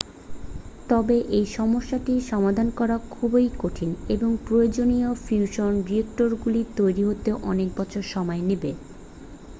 তবে এই সমস্যাটি সমাধান করা খুবই কঠিন এবং প্রয়োজনীয় ফিউশন রিঅ্যাক্টরগুলি তৈরি হতে অনেক বছর সময় নেবে